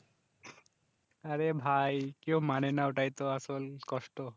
আরে ভাই কেউ মানে না ওটাই তো আসল কষ্ট